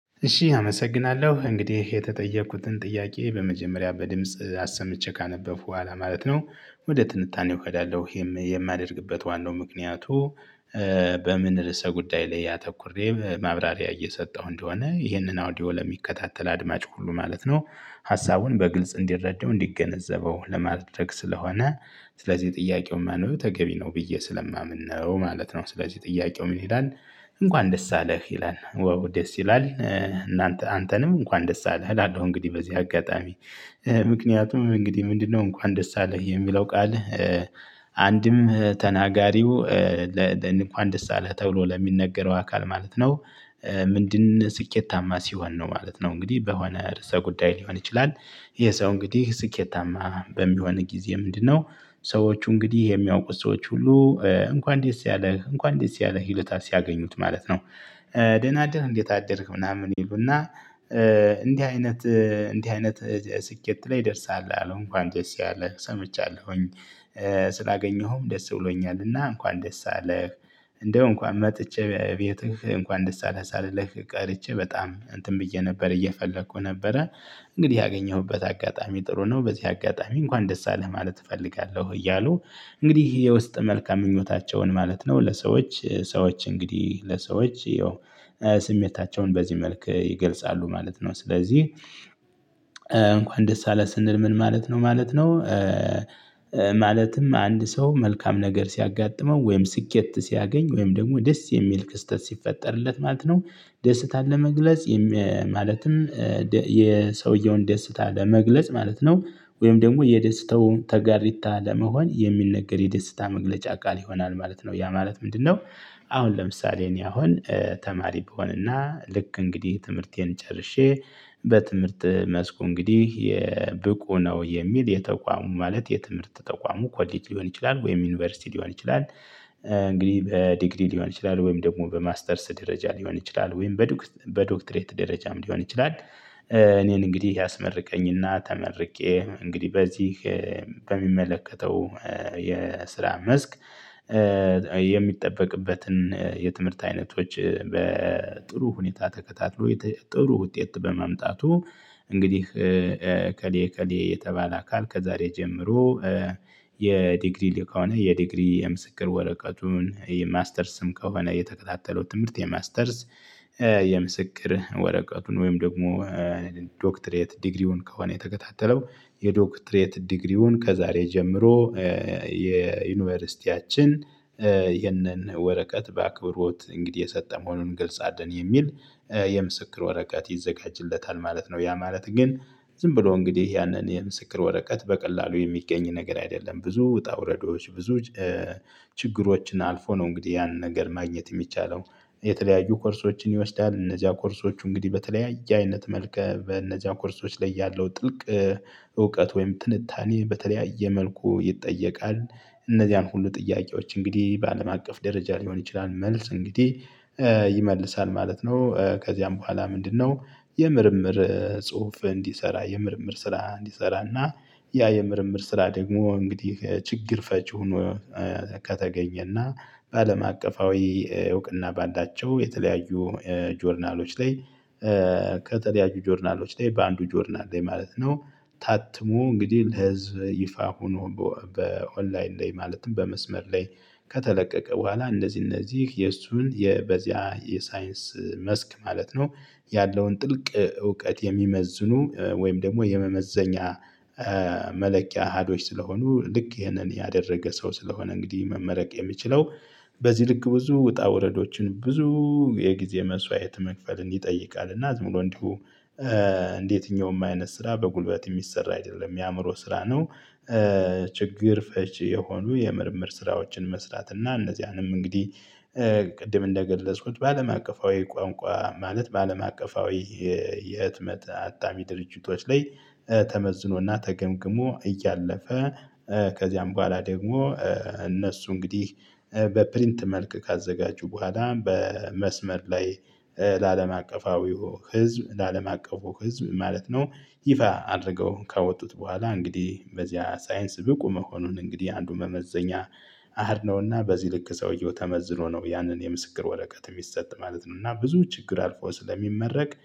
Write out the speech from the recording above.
እሺ አመሰግናለሁ እንግዲህ የተጠየቅኩትን ጥያቄ በመጀመሪያ በድምጽ አሰምቼ ካነበብኩ በኋላ ማለት ነው። ወደ ትንታኔው እሄዳለው የማደርግበት ዋናው ምክንያቱ። በምን ርዕሰ ጉዳይ ላይ አተኩሬ ማብራሪያ እየሰጠሁ እንደሆነ ይህንን አውዲዮ ለሚከታተል አድማጭ ሁሉ ማለት ነው። ሀሳቡን በግልጽ እንዲረዳው እንዲገነዘበው ለማድረግ ስለሆነ። ስለዚህ ጥያቄው ማንበብ ተገቢ ነው ብዬ ስለማምን ነው ማለት ነው። ስለዚህ ጥያቄው ምን ይላል? እንኳን ደስ አለህ ይላል ዋው ደስ ይላል። እናንተ አንተንም እንኳን ደስ አለህ አላለሁ እንግዲህ በዚህ አጋጣሚ። ምክንያቱም እንግዲህ ምንድነው እንኳን ደስ አለህ የሚለው ቃልህ? አንድም ተናጋሪው እንኳን ደስ አለህ ተብሎ ለሚነገረው አካል ማለት ነው። ምንድን ስኬታማ ሲሆን ነው ማለት ነው። እንግዲህ በሆነ ርዕሰ ጉዳይ ሊሆን ይችላል። የሰው እንግዲህ ስኬታማ በሚሆን ጊዜ ምንድነው? ሰዎቹ እንግዲህ የሚያውቁት ሰዎች ሁሉ። እንኳን ደስ ያለ እንኳን ደስ ያለ ይሉታል ሲያገኙት ማለት ነው። ደህና አደርክ እንዴት አደርክ ምናምን ይሉና። እንዲህ አይነት እንዲህ አይነት ስኬት ላይ ደርሰሃል አሉ እንኳን ደስ ያለ ሰምቻለሁኝ። ስላገኘሁም ደስ ብሎኛልና እንኳን ደስ አለህ። እንደው እንኳን መጥቼ ቤትህ እንኳን ደስ አለህ ሳልልህ ቀርቼ በጣም እንትን ብዬ ነበር እየፈለኩ ነበረ። እንግዲህ ያገኘሁበት አጋጣሚ ጥሩ ነው። በዚህ አጋጣሚ እንኳን ደስ አለህ ማለት እፈልጋለሁ እያሉ። እንግዲህ የውስጥ መልካም ምኞታቸውን ማለት ነው ለሰዎች ሰዎች እንግዲህ ለሰዎች ያው ስሜታቸውን በዚህ መልክ ይገልጻሉ ማለት ነው። ስለዚህ እንኳን ደስ አለህ ስንል ምን ማለት ነው ማለት ነው? ማለትም አንድ ሰው መልካም ነገር ሲያጋጥመው ወይም ስኬት ሲያገኝ ወይም ደግሞ ደስ የሚል ክስተት ሲፈጠርለት ማለት ነው። ደስታን ለመግለጽ። ማለትም የሰውየውን ደስታ ለመግለጽ ማለት ነው። ወይም ደግሞ የደስታው ተጋሪታ ለመሆን የሚነገር የደስታ መግለጫ ቃል ይሆናል ማለት ነው ያ ማለት ምንድነው? አሁን ለምሳሌ እኔ አሁን ተማሪ ብሆንና ልክ እንግዲህ ትምህርቴን ጨርሼ በትምህርት መስኩ እንግዲህ የ ብቁ ነው የሚል የተቋሙ ማለት የትምህርት ተቋሙ ኮሌጅ ሊሆን ይችላል ወይም ዩኒቨርሲቲ ሊሆን ይችላል። እንግዲህ በዲግሪ ሊሆን ይችላል ወይም ደግሞ በማስተርስ ደረጃ ሊሆን ይችላል ወይም በዶክ በዶክትሬት ደረጃም ሊሆን ይችላል። እኔን እንግዲህ ያስመርቀኝና ተመርቄ እንግዲህ በዚህ በሚመለከተው የስራ መስክ። የሚጠበቅበትን የትምህርት አይነቶች በጥሩ ሁኔታ ተከታትሎ ጥሩ ውጤት በማምጣቱ። እንግዲህ እከሌ እከሌ የተባለ አካል ከዛሬ ጀምሮ። የዲግሪ ከሆነ የዲግሪ የምስክር ወረቀቱን የማስተርስም ከሆነ የተከታተለው ትምህርት የማስተርስ። የምስክር ወረቀቱን ወይም ደግሞ ዶክትሬት ዲግሪውን ከሆነ የተከታተለው የዶክትሬት ዲግሪውን ከዛሬ ጀምሮ። የዩኒቨርሲቲያችን ይህንን ወረቀት በአክብሮት እንግዲህ የሰጠ መሆኑን እንገልጻለን የሚል የምስክር ወረቀት ይዘጋጅለታል ማለት ነው። ያ ማለት ግን ዝም ብሎ እንግዲህ ያንን የምስክር ወረቀት በቀላሉ የሚገኝ ነገር አይደለም ብዙ ውጣ ውረዶች ብዙ ችግሮችን አልፎ ነው እንግዲህ ያንን ነገር ማግኘት የሚቻለው። የተለያዩ ኮርሶችን ይወስዳል እነዚያ ኮርሶች እንግዲህ በተለያየ አይነት መልከ በእነዚያ ኮርሶች ላይ ያለው ጥልቅ እውቀት ወይም ትንታኔ በተለያየ መልኩ ይጠየቃል። እነዚያን ሁሉ ጥያቄዎች እንግዲህ በአለም አቀፍ ደረጃ ሊሆን ይችላል መልስ እንግዲህ ይመልሳል ማለት ነው። ከዚያም በኋላ ምንድነው? የምርምር ጽሁፍ እንዲሰራ የምርምር ስራ እንዲሰራና ያ የምርምር ስራ ደግሞ እንግዲህ ችግር ፈቺ ሆኖ ከተገኘና። በአለም አቀፋዊ እውቅና በአላቸው የተለያዩ ጆርናሎች ላይ። ከተለያዩ ጆርናሎች ላይ በአንዱ ጆርናል ላይ ማለት ነው ታትሞ እንግዲህ ለህዝብ ይፋ ሆኖ። በኦንላይን ላይ ማለትም በመስመር ላይ ከተለቀቀ። በኋላ እነዚህ እነዚህ የእሱን የበዚያ የሳይንስ መስክ ማለት ነው። ያለውን ጥልቅ እውቀት የሚመዝኑ ወይም ደግሞ የመመዘኛ መለኪያ አሀዶች ስለሆኑ ልክ ይሄንን ያደረገ ሰው ስለሆነ እንግዲህ መመረቅ የሚችለው። በዚህ ልክ ብዙ ውጣ ውረዶችን ብዙ የጊዜ መስዋዕት መክፈልን ይጠይቃል። እና ዝም ብሎ እንዲሁ እንደየትኛውም አይነት ስራ በጉልበት የሚሰራ አይደለም የአእምሮ ስራ ነው። ችግር ፈች የሆኑ የምርምር ስራዎችን መስራት እና እነዚያንም እንግዲህ ቅድም እንደገለጽኩት በአለም አቀፋዊ ቋንቋ ማለት በአለም አቀፋዊ የህትመት አታሚ ድርጅቶች ላይ ተመዝኖና ተገምግሞ እያለፈ። ከዚያም በኋላ ደግሞ እነሱ እንግዲህ በፕሪንት መልክ ካዘጋጁ በኋላ በመስመር ላይ። ለአለም አቀፋዊው ህዝብ ለአለም አቀፉ ህዝብ ማለት ነው። ይፋ አድርገው ካወጡት በኋላ እንግዲህ በዚያ ሳይንስ ብቁ መሆኑን እንግዲህ አንዱ መመዘኛ። አሃድ ነውና በዚህ ልክ ሰውየው ተመዝኖ ነው ያንን የምስክር ወረቀት የሚሰጥ ማለት ነው። እና ብዙ ችግር አልፎ ስለሚመረቅ